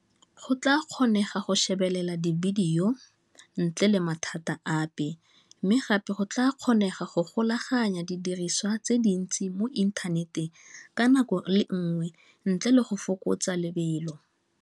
Go tla kgonega go shebelela divideyo ntle le mathata ape mme gape go tla kgonega go golaganya didiriswa tse dintsi mo inthaneteng ka nako le nngwe ntle le go fokotsa lebelo.